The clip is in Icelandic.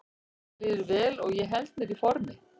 Mér líður vel og ég held mér í formi.